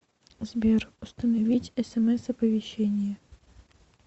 сбер установить смс оповещение